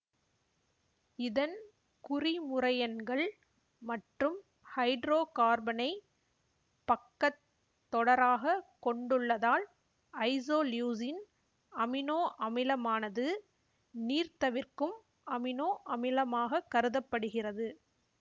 இதன் குறிமுறையன்கள் மற்றும் ஹைட்ரோகார்பனை பக்கத் தொடராக கொண்டுள்ளதால் ஐசோலியூசின் அமினோ அமிலமானது நீர்தவிர்க்கும் அமினோ அமிலமாகக் கருத படுகிறது